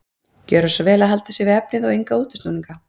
Gjöra svo vel að halda sig við efnið og enga útúrsnúninga.